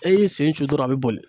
E y'i sen cun dɔrɔn a be boli